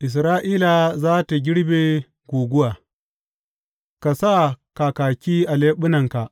Isra’ila za tă girbe guguwa Ka sa kakaki a leɓunanka!